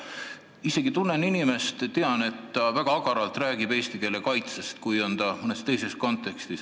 Ma ise tunnen seda inimest ja tean, et ta mõnes teises kontekstis räägib väga agaralt eesti keele kaitsest.